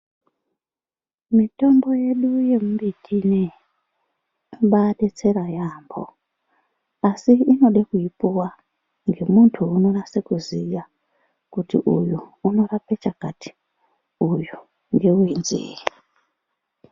Mitombo yedu yemimbiti ineyi, inombaadetsera yaamho asi inode kuipuwa ngemunhu unonase kuziya kuti uyu unorape chakati, uyu ngewenzee.